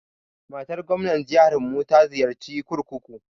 Matar gwamnar jiharmu ta ziyarci kurkuku.